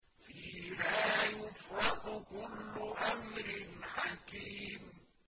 فِيهَا يُفْرَقُ كُلُّ أَمْرٍ حَكِيمٍ